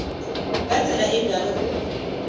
ka tsela e bjalo go